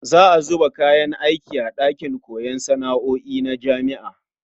Za a zuba kayan aiki a ɗakin koyon sana'o'i na jami'a.